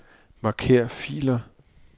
Marker filer.